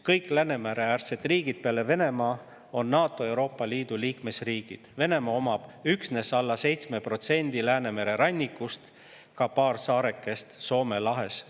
Kõik Läänemere-äärsed riigid peale Venemaa on NATO ja Euroopa Liidu liikmesriigid, Venemaale kuulub üksnes alla 7% Läänemere rannikust, ka paar saarekest Soome lahes.